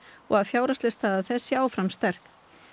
og fjárhagsleg staða þess sé áfram sterk